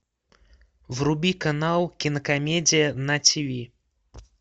вруби канал кинокомедия на тиви